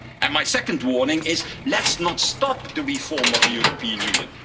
And my second warning is this let's not stop the reform of the European Union.